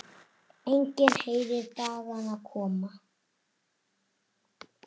Enginn heyrir dagana koma.